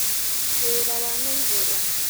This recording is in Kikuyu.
Wĩra wana igũrũ